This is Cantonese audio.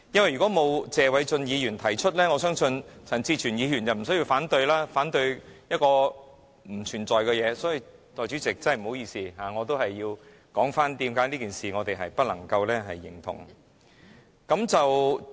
如果謝偉俊議員沒有提出議案，我相信陳志全議員便無需反對不存在的事情，所以代理主席，真的不好意思，我仍要繼續說我們為何不能認同此事。